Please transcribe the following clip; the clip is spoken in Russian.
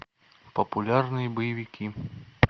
популярные боевики